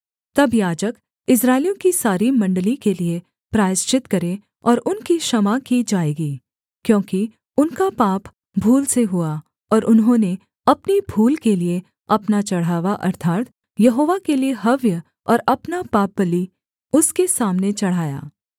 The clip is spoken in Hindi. तब याजक इस्राएलियों की सारी मण्डली के लिये प्रायश्चित करे और उनकी क्षमा की जाएगी क्योंकि उनका पाप भूल से हुआ और उन्होंने अपनी भूल के लिये अपना चढ़ावा अर्थात् यहोवा के लिये हव्य और अपना पापबलि उसके सामने चढ़ाया